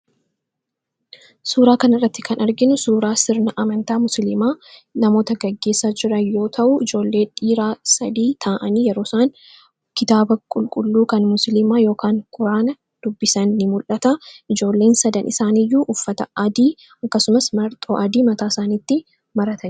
Suuraa kanarratti kan arginu suuraa sirna amantaa Musliimaa namoota gaggeessaa jiran yoo ta’u, ijoollee dhiiraa sadii ta'anii yeroo isaan kitaaba qulqulluu kan Musliimaa yookaan Quraana dubbisan ni mul'ata. Ijoolleen sadan isaaniiyyuu uffata adii akkasumas marxoo adii mataa isaaniitti maratanii jiru.